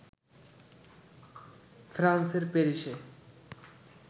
ফ্রান্সের প্যারিসে